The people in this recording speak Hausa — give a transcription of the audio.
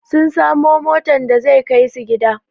Sun samu motan da zai kaisu gida